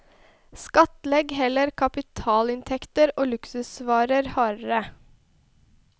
Skattlegg heller kapitalinntekter og luksusvarer hardere.